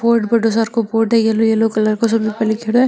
बोर्ड बड़ो सारो को बोर्ड है येलो येलो कलर को सो है बी पर लिखेड़ो है।